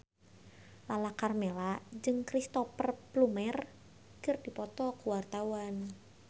Lala Karmela jeung Cristhoper Plumer keur dipoto ku wartawan